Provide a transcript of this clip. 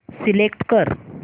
select कर